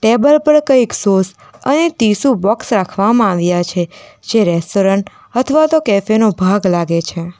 Table પર કંઈક sauce અને ટીશું બોક્સ રાખવામાં આવ્યા છે જે રેસ્ટોરન્ટ અથવા તો કેફે નો ભાગ લાગે છે.